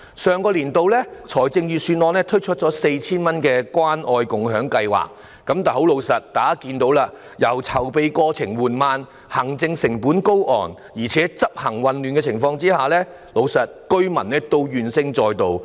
上年度預算案推出向市民派發 4,000 元的關愛共享計劃，但老實說，大家也可看到，籌備過程緩慢，行政成本高昂，加上執行混亂，以致市民怨聲載道。